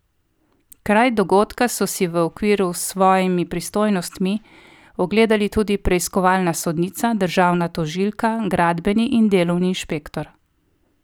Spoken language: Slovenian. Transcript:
Kraj dogodka so si, v okviru s svojimi pristojnostmi, ogledali tudi preiskovalna sodnica, državna tožilka, gradbeni in delovni inšpektor.